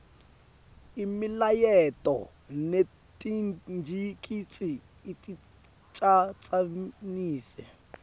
imilayeto netingcikitsi aticatsanise